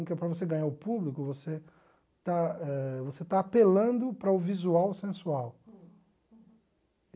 Então, para você ganhar o público, você está eh você está apelando para o visual sensual.